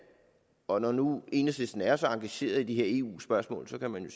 og når nu enhedslisten er så engageret i de her eu spørgsmål kan man